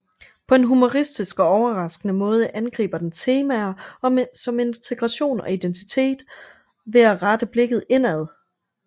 På en humoristisk og overraskende måde angriber den temaer som integration og identitet ved at rette blikket indad